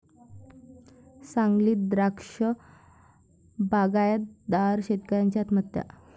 सांगलीत द्राक्ष बागायतदार शेतकऱ्याची आत्महत्या